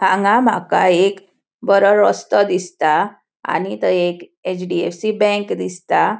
हांगा माका एक बरो रस्तों दिसता आणि थंय एक एच.डी.एफ.सी. बैंक दिसता.